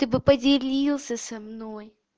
ты бы поделился со мной